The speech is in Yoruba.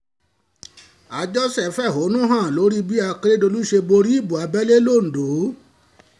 àjọṣetòlẹ́gàn ọ̀kan nínú àwọn olùdíje fẹ̀hónú hàn lórí bí akérèdọ́lù ṣe borí ìbò abẹ́lé lodò